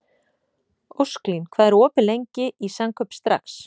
Ósklín, hvað er opið lengi í Samkaup Strax?